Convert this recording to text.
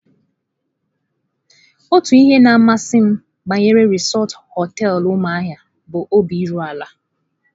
Otu ihe na-amasị m banyere Resort hoteelu Umuahia bụ obi iru ala.